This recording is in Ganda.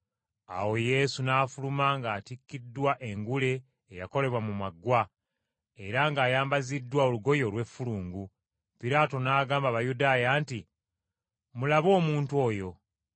Awo Yesu n’afuluma ng’atikkiddwa engule eyakolebwa mu maggwa, era ng’ayambaziddwa olugoye olw’effulungu, Piraato n’agamba Abayudaaya nti, “Mulabe omuntu oyo!”